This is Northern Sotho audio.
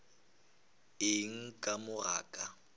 eng ka mo ga ka